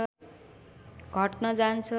घट्न जान्छ